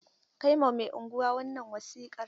Kai ma mai unguwa wannan wasiƙar!